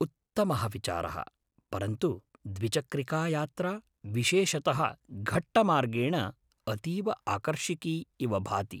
उन्मत्तः विचारः, परन्तु द्विचक्रिकायात्रा, विशेषतः घट्टमार्गेण, अतीव आकर्षिकी इव भाति।